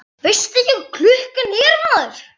Veistu ekki hvað klukkan er orðin, maður?